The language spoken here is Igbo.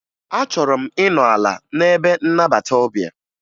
Achọrọ m ịnọ ala n'ebe nnabata ọbịa